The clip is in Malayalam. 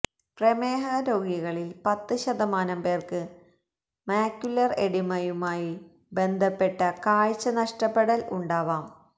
പ്രമേഹ രോഗികളിൽ പത്ത് ശതമാനം പേർക്ക് മാക്യുലർ എഡിമയുമായി ബന്ധപ്പെട്ട കാഴ്ച നഷ്ടപ്പെടൽ ഉണ്ടാവാം